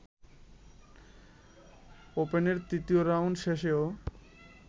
ওপেনের তৃতীয় রাউন্ড শেষেও